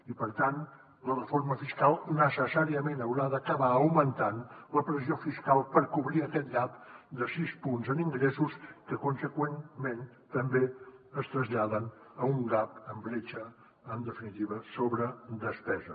i per tant la reforma fiscal necessàriament haurà d’acabar augmentant la pressió fiscal per cobrir aquest gapconseqüentment també es traslladen a un gap en bretxa en definitiva sobre despesa